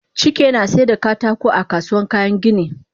Chike nasaida katako a kasuwan kayan gini